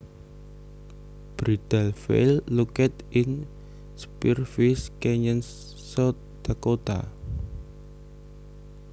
Bridal Veil located in Spearfish Canyon South Dakota